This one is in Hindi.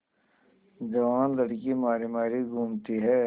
जवान लड़की मारी मारी घूमती है